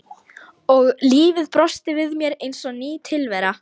Og lífið brosti við mér eins og ný tilvera.